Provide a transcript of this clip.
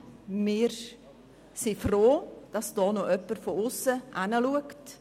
Wir sind froh, dass hier jemand von aussen hinschaut.